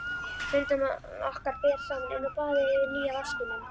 Fundum okkar ber saman inni á baði yfir nýja vaskinum.